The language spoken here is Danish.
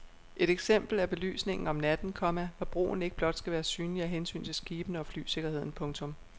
Et eksempel er belysningen om natten, komma hvor broen ikke blot skal være synlig af hensyn til skibene og flysikkerheden. punktum